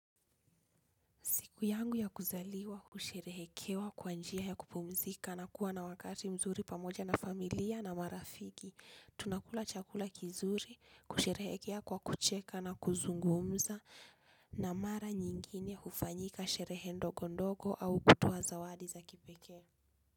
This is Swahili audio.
Siku yangu ya kuzaliwa, husherehekewa, kwanjia ya kupumzika na kuwa na wakati mzuri pamoja na familia na marafiki. Tunakula chakula kizuri, kusherehekea kwa kucheka na kuzungumza na mara nyingine hufanyika sherehe ndogo ndogo au kutoa zawadi za kipeke.